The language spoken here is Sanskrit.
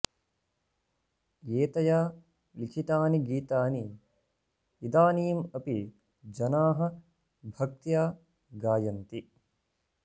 एतया लिखितानि गीतानि इदानीम् अपि जनाः भक्त्या गायन्ति